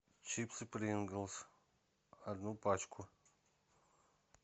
чипсы принглс одну пачку